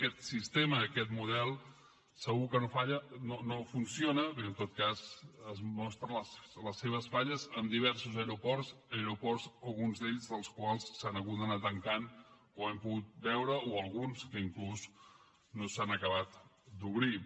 aquest sistema aquest model segur que no funciona perquè en tot cas es mostren les seves falles en diversos aeroports aeroports alguns dels quals s’han hagut d’anar tancant com hem pogut veure o alguns que inclús no s’han acabat d’obrir